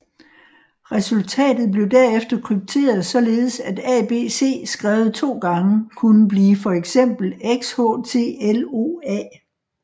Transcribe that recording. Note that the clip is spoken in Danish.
Resultatet blev derefter krypteret således at ABC skrevet to gange kunne blive for eksempel XHTLOA